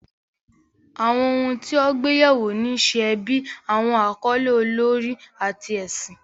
Àwọn ohun tí wọ́n gbé yẹ̀ wò ni iṣẹ́ ẹbí, àwọn àkọlé olórí, àti ẹ̀sìn.